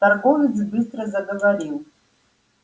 торговец быстро заговорил